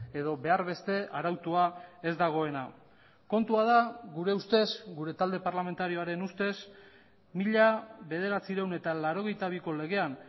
edo behar beste arautua ez dagoena kontua da gure ustez gure talde parlamentarioaren ustez mila bederatziehun eta laurogeita biko legean